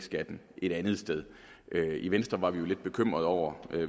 skatten et andet sted i venstre var vi jo lidt bekymrede over